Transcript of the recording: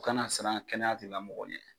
Kana siran kɛnɛya tigilamɔgɔw ɲɛ.